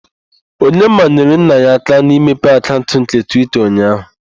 Onyeka nyere nna ya aka n'ịmepe akaụnt nke Twita ụnyaaahụ.